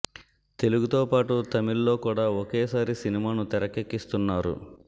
తెలుగుతో పాటు తమిళ్ లో కూడా ఒకే సారి సినిమాను తెరకెక్కిస్తున్నారు